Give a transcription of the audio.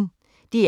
DR P1